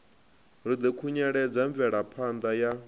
ri ḓo khunyeledza mvelaphanda ya